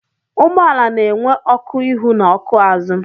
Ụgbọala na-enwe ọkụ ihu na ọkụ azụ.